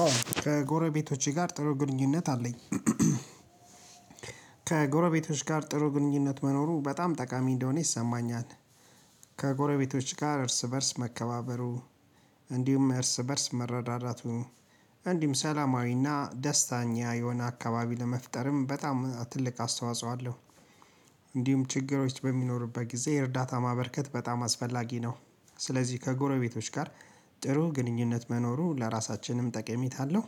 አዎ ከጎረቤቶቼ ጋር ጥሩ ግንኙነት አለኝ። ከጎረቤቶች ጋር ጥሩ ግንኙነት መኖሩ በጣም ጠቃሚ እንደሆነ ይሰማኛል። ከጎረቤቶች ጋር እርስ በእርስ መከባበሩ እንዲሁም እርስ በእርስ መረዳዳቱ እንዲሁም ሰላማዊና ደስታኛ የሆነ አካባቢ ለመፍጠርም በጣም ትልቅ አስተዋጽኦ አለው። እንዲሁም ችግሮች በሚኖሩበት ጊዜ እርዳታ ማበርከት በጣም አስፈላጊ ነው። ስለዚህ ከጎረቤቶች ጋር ጥሩ ግንኙነት መኖሩ ለራሳችንም ጠቀሜታ አለው።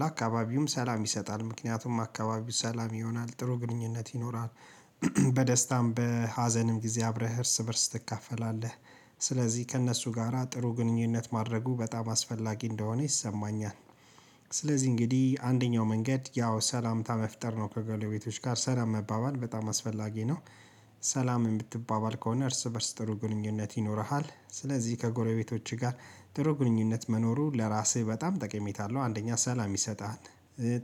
ለአካባቢውም ሰላም ይሰጣል ምክንያቱም አካባቢው ሰላም ይሆናል ጥሩ ግንኙነት ይኖራል። በደስታም በሀዘንም ጊዜ አብረህ እርስ በእርስ ትካፈላለህ። ስለዚህ ከእነሱ ጋራ ጥሩ ግንኙነት ማድረጉ በጣም አስፈላጊ እንደሆነ ይሰማኛል። ስለዚህ እንግዲህ አንደኛው መንገድ ያው ሰላምታ መፍጠር ነው ከጎረቤቶች ጋር ሰላም መባባል በጣም አስፈላጊ ነው። ሰላም የምትባባል ከሆነ እርስ በእርስ ጥሩ ግንኙነት ይኖርሃል ስለዚህ ከጎረቤቶችህ ጋር ጥሩ ግንኙነት መኖሩ ለራስህ በጣም ጠቅሜታ አለው አንደኛ ሰላም ይሰጣል።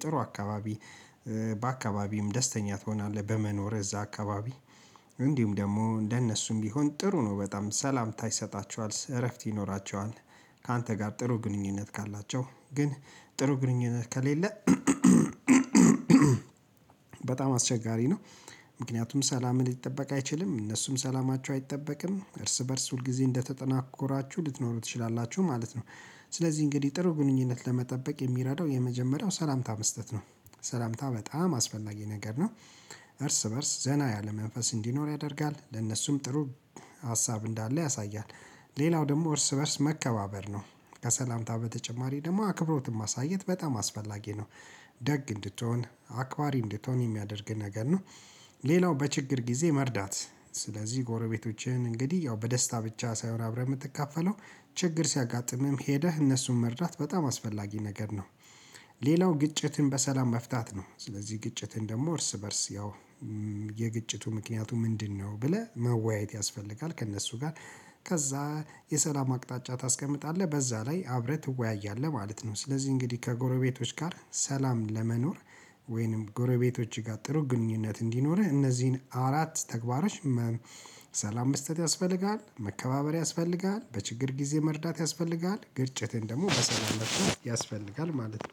ጥሩ አካባቢ በአካባቢም ደስተኛ ትሆናለህ በመኖርህ እዛ አካባቢ እንዲሁም ደግሞ እንደነሱም ቢሆን ጥሩ ነው በጣም ሰላምታ ይሰጣቸዋል እረፍት ይኖራቸዋል። ካንተ ጋር ጥሩ ግንኙነት ካላቸው ግን ጥሩ ግንኙነት ከሌለ። በጣም አስቸጋሪ ነው። ምክንያቱም ሰላምህ ሊጠበቅ አይችልም እነሱም ሰላማቸው አይጠበቅም እርስ በእርስ ሁል ጊዜ እንደተናቆራችሁ ልትኖሩ ትችላላችሁ ማለት ነው። ስለዚህ እንግዲህ ጥሩ ግንኙነት ለመጠበቅ የሚረዳው የመጀመሪያው ሰላምታ መስጠት ነው። ሰላምታ በጣም አስፈላጊ ነገር ነው። እርስ በእርስ ዘና ያለ መንፈስ እንዲኖር ያደርጋል ለነሱም ጥሩ ሀሳብ እንዳለ ያሳያል። ሌላው ደግሞ እርስ በእርስ መከባበር ነው። ከሰላምታ በተጨማሪ ደግሞ አክብሮትን ማሳየት በጣም አስፈላጊ ነው። ደግ እንድትሆን አክባሪ እንድትሆን የሚያደርግ ነገር ነው። ሌላው በችግር ጊዜ መርዳት ስለዚህ ጎረቤቶችህን እንግዲህ ያው በደስታ ብቻ ሳይሆን አብረህ የምትካፈለው ችግር ሲያጋጥምህም ሄደህ እነሱን መርዳት በጣም አስፈላጊ ነገር ነው። ሌላው ግጭትን በሰላም መፍታት ነው ስለዚህ ግጭትን ደግሞ እርስ በእርስ ያው የግጭቱ ምክንያቱ ምንድነው? ብለህ መወያየት ያስፈልጋል ከእነሱ ጋር ከዛ የሰላም አቅጣጫ ታስቀምጣለህ በዛ ላይ አብረህ ትወያያለህ ማለት ነው። ስለዚህ እንግዲህ ከጎረቤቶች ጋር ሰላም ለመኖር ወይንም ጎረቤቶች ጋር ጥሩ ግንኙነት እንዲኖርህ እነዚህን አራት ተግባሮች ሰላም በስህተት ያስፈልጋል መከባበር ያስፈልጋል በችግር ጊዜ መርዳት ያስፈልጋል ግጭትን ደግሞ በሰላም መፍታት ያስፈልጋል ማለት ነው